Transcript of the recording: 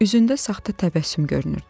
Üzündə saxta təbəssüm görünürdü.